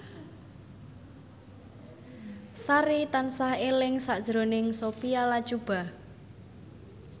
Sari tansah eling sakjroning Sophia Latjuba